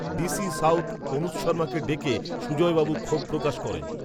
D C south, Anuj শর্মাকে ডেকে, সুজয়বাবু ক্ষোভ, প্রকাশ, করেন